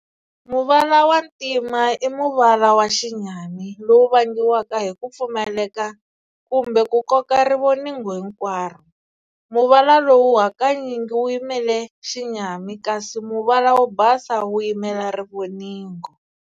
Muvala wa Ntima i muvala wa xinyami, lowu vangiwaka hi kupfumaleka kumbe ku koka rivoningo hinkwaro. Muvala lowu hakanyingi wu yimela xinyami, kasi muvala wo basa wu yimela rivoningo.